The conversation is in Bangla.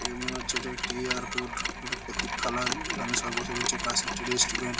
দেখে মনে হচ্ছে এটা একটি এয়ারপোর্ট প্রতীক্ষালয় যেখানে সবাই বসে রয়েছে পাশে একটি রেস্ট্রুরেন্ট ।